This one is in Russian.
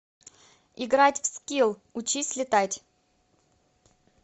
играть в скил учись летать